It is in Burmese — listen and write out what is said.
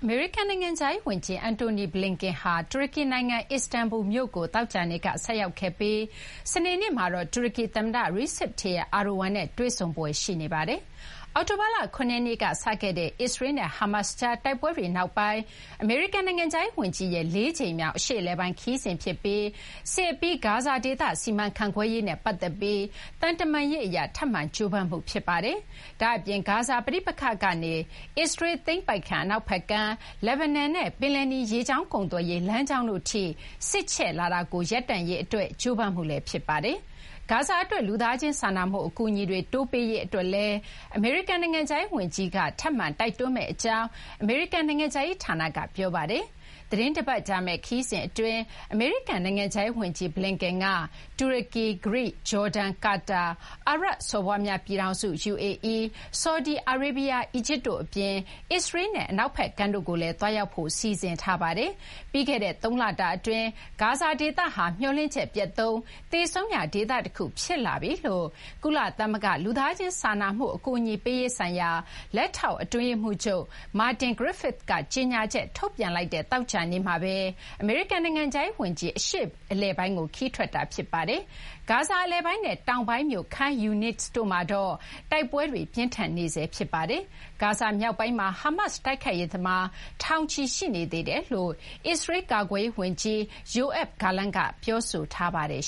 မေရိကန် နိုင်ငံခြားရေး ဝန်ကြီး Antony Blinken ဟာ တူရကီနိုင်ငံ အစ္စတန်ဘူလ် မြို့ကို သောကြာနေ့က ဆိုက်ရောက်ခဲ့ပြီး စနေနေ့မှာတော့ တူရကီ သမ္မတ Recep Tayyip Erdogan နဲ့ တွေ့ဆုံဖွယ် ရှိနေပါတယ်။ အောက်တိုဘာလ ၇ ရက်နေ့က စခဲ့တဲ့ အစ္စရေးလ်နဲ့ ဟားမတ်စ်ကြား တိုက်ပွဲတွေ နောက်ပိုင်း အမေရိကန် နိုင်ငံခြားရေး ဝန်ကြီးရဲ့ လေးကြိမ်မြောက် အရှေ့အလယ်ပိုင်း ခရီးစဉ်ဖြစ်ပြီး စစ်အပြီး ဂါဇာ ဒေသ စီမံခန့်ခွဲရေးနဲ့ ပတ်သက်ပြီး သံတမန်ရေး အရ ထပ်မံ ကြိုးပမ်းမှု ဖြစ်ပါတယ်။ ဒါ့အပြင် ဂါဇာ ပဋိပက္ခကနေ အစ္စရေးလ် သိမ်းပိုက်ခံ အနောက်ဘက်ကမ်း၊ လက်ဘနွန်နဲ့ ပယ်လယ်နီ ရေကြောင်းကုန်သွယ်ရေး လမ်းကြောင်းတို့ထိ စစ်ချဲ့လာတာကို ရပ်တန့်ရေး အတွက် ကြိုးပမ်းမှုလည်း ဖြစ်ပါတယ်။ ဂါဇာ အတွက် လူသားချင်း စာနာမှု အကူအညီတွေ တိုးပေးရေး အတွက်လည်း အမေရိကန် နိုင်ငံခြားရေး ဝန်ကြီး Blinken က ထပ်မံ တိုက်တွန်းမယ့် အကြောင်း အမေရိကန် နိုင်ငံခြားရေး ဌာနက ပြောပါတယ်။ သီတင်းတပတ်ကြာမယ့် ခရီးစဉ် အတွင်း အမေရိကန် နိုင်ငံခြားရေး ဝန်ကြီး Blinken က တူရကီ၊ ဂရိ၊ ဂျော်ဒန်၊ ကာတာ၊ အာရပ်စော်ဘွားများ ပြည်ထောင်စု UAE ၊ ဆော်ဒီအာရေဗျ၊ အီဂျစ်တို့ အပြင် အစ္စရေးလ်နဲ့ အနောက်ဘက်ကမ်းတို့ကိုလည်း သွားရောက်ဖို့ စီစဉ်ထားပါတယ်။ ပြီးခဲ့တဲ့ သုံးလတာ အတွင်း ဂါဇာဒေသဟာ မျှော်လင့်ချက် ပျက်သုဉ်း၊ သေဆုံးရာ ဒေသ တခု ဖြစ်လာပြီလို့ ကုလသမဂ္ဂ လူသားချင်းစာနာမှု အကူအညီပေးရေးဆိုင်ရာ လက်ထောက်အတွင်းရေးမှုးချုပ် Martin Griffiths က ကြေညာချက် ထုတ်ပြန်လိုက်တဲ့ သောကြာနေ့မှာဘဲ အမေရိကန် နိုင်ငံခြားရေး ဝန်ကြီး အရှေ့အလယ်ပိုင်းကို ခရီးထွက်ခွာတာ ဖြစ်ပါတယ်။ ဂါဇာ အလယ်ပိုင်းနဲ့ တောင်ပိုင်းမြို့ Khan Younis တို့မှာတော့ တိုက်ပွဲတေါ ပြင်းထန်နေဆဲ ဖြစ်ပါတယ်။ ဂါဇာမြောက်ပိုင်းမှာ ဟားမတ် တိုက်ခိုက်ရေးသမား ထောင်ချီ ရှိနေသေးကြောင်း အစ္စရေလ်း ကာကွယ်ရေး ဝန်ကြီး Yoav Gallant ကလည်း ပြောဆိုထားပါတယ်